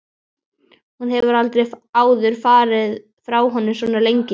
Hún hefur aldrei áður farið frá honum svona lengi.